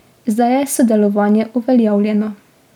Zdaj je sodelovanje uveljavljeno.